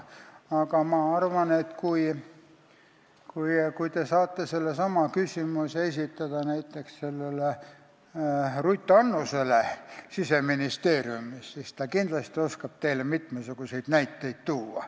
Aga ma arvan, et kui te esitate sellesama küsimuse näiteks Ruth Annusele Siseministeeriumist, siis ta kindlasti oskab teile mitmesuguseid näiteid tuua.